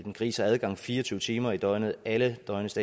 en gris har adgang fire og tyve timer i døgnet alle døgnets